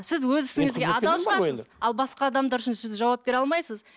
сіз өз ісіңізге адал шығарсыз ал басқа адамдар үшін сіз жауап бере алмайсыз